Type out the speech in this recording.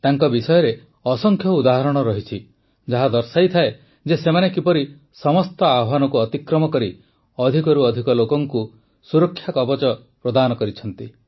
ତାଙ୍କ ବିଷୟରେ ଅସଂଖ୍ୟ ଉଦାହରଣ ଅଛି ଯାହା ଦର୍ଶାଏ ଯେ ସେମାନେ କିପରି ସମସ୍ତ ଆହ୍ୱାନକୁ ଅତିକ୍ରମ କରି ଅଧିକରୁ ଅଧିକ ଲୋକଙ୍କୁ ସୁରକ୍ଷାକବଚ ପ୍ରଦାନ କରିଛନ୍ତି